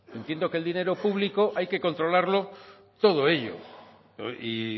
entiendo que el dinero público hay que controlarlo todo ello y